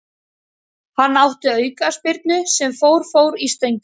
Hann átti aukaspyrnu sem fór fór í stöngina.